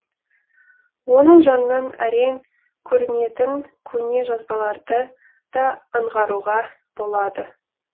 оның жанынан әрең көрінетін көне жазбаларды да аңғаруға болады